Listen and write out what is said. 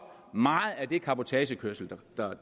meget af den cabotagekørsel